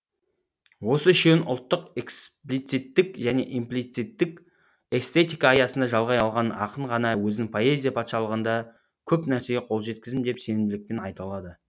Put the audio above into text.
осы үшеуін ұлттық эксплициттік және имплицитік эстетика аясында жалғай алған ақын ғана өзін поэзия патшалығында көп нәрсеге қол жеткіздім деп сенімділікпен айта алады